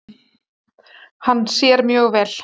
Hann sér mjög vel.